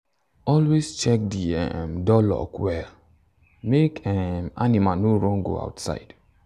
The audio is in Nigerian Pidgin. always check the um door lock well make um animal no run go outside.